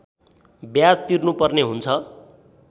ब्याज तिर्नुपर्ने हुन्छ